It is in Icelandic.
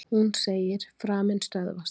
Hún segir: Framinn stöðvast.